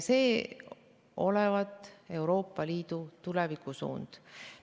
See olevat Euroopa Liidu tulevikusuund.